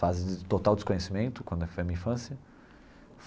Fases de total desconhecimento, quando foi a minha infância.